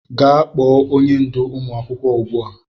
Gaa kpo onye ndú ụmụ akwụkwọ ugbua!